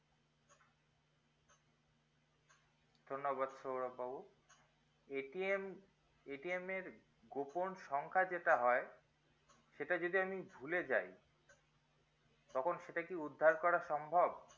ধন্যবাদ সৌরভ বাবু ~ এর গোপন সংখ্যা যেটা হয় সেটা যদি আমি ভুলে যাই তখন সেটা কি উদ্ধার করা সম্ভব